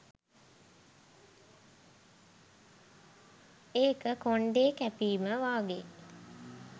ඒක කොන්ඩේ කැපීම වගේ